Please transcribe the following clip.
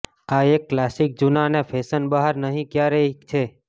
આ એક ક્લાસિક જૂના અને ફેશન બહાર નહીં ક્યારેય છે